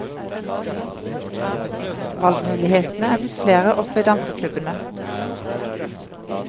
Valgmulighetene er blitt flere også i danseklubbene.